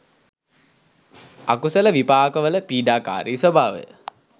අකුසල විපාකවල පීඩාකාරී ස්වභාවය